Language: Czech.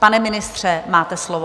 Pane ministře, máte slovo.